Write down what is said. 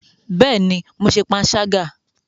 Bẹẹni, Mó ṣe panṣaga